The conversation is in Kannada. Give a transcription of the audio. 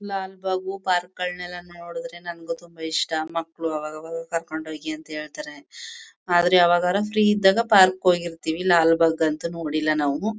ಲಾಲ್ಬಾಗ್ ಪಾರ್ಕ್ ಗಳ್ನೆಲ್ಲ ನೋಡುದ್ರೆ ನಮಗೂ ತುಂಬಾ ಇಷ್ಟ. ಮಕ್ಳು ಅವಾಗ್ ಅವಾಗ ಕರ್ಕೊಂಡ್ ಹೋಗಿ ಅಂತ ಹೇಳ್ತಾರೆ. ಆದ್ರೆ ಯಾವಾಗಾರ ಫ್ರೀ ಇದ್ದಾಗ ಪಾರ್ಕ್ ಹೋಗಿರ್ತಿವಿ. ಲಾಲ್ಬಾಗ್ ಅಂತೂ ನೋಡಿಲ್ಲ ನಾವು.